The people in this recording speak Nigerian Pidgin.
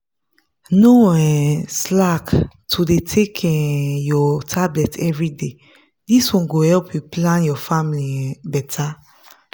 no um slack to dey take um your tablet everyday this one go help you plan your family um better.